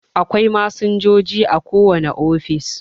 Akwai masinjoji a kowane ofis